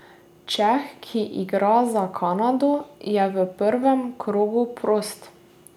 Čeh, ki igra za Kanado, je v prvem krogu prost.